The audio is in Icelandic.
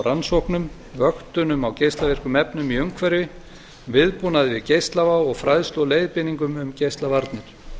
rannsóknum vöktunum á geislavirkum efnum í umhverfi viðbúnaði við geislavá og fræðslu og leiðbeiningum um geislavarnir